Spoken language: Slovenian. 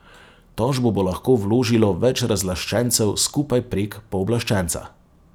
Tožbo bo lahko vložilo več razlaščencev skupaj prek pooblaščenca.